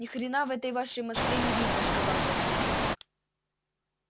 ни хрена в этой вашей москве не видно сказал таксист